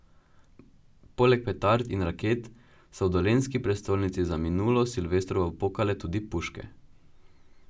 Poleg petard in raket so v dolenjski prestolnici za minulo silvestrovo pokale tudi puške.